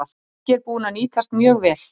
Helgi er búinn að nýtast mjög vel.